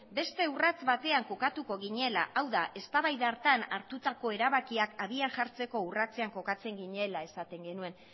beste urrats batean jokatuko ginela hau da eztabaida hartan hartutako erabakiak abian jartzeko urratzean kokatzen ginela esaten genuen